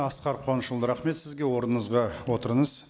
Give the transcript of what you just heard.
асқар қуанышұлы рахмет сізге орныңызға отырыңыз